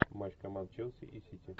матч команд челси и сити